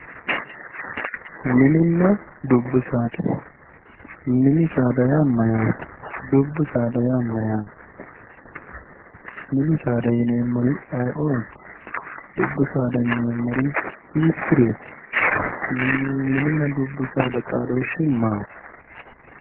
Mininna dubbi saada, mini saada yaa mayate, dubbu saada yaa mayate ,mini saada yinneemmori ayeeoti, dubbu saada yinneemmori hiikkuriti, mininna dubbu saada xaadoshi maati.